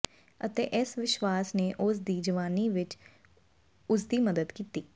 ਅਤੇ ਇਸ ਵਿਸ਼ਵਾਸ ਨੇ ਉਸ ਦੀ ਜਵਾਨੀ ਵਿੱਚ ਉਸਦੀ ਮਦਦ ਕੀਤੀ